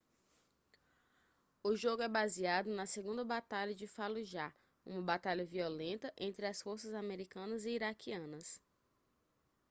o jogo é baseado na segunda batalha de fallujah uma batalha violenta entre as forças americanas e iraquianas